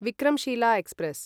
Vikramshila express